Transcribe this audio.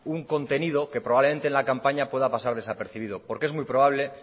un contenido que probablemente en la campaña puede pasar desapercibido es muy probable